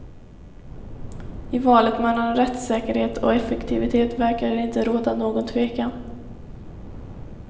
I valet mellan rättssäkerhet och effektivitet verkade det inte råda någon tvekan.